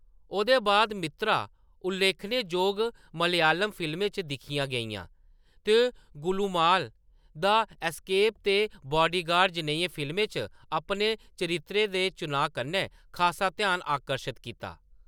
ओह्दे बाद मित्रा उल्लेखनेजोग मलयालम फिल्में च दिक्खियां गेइयां, ते गुलुमाल : द एस्केप ते बॉडीगार्ड जनेहियें फिल्में च अपने चरित्रें दे चुनांऽ कन्नै खासा ध्यान आकर्शत कीता।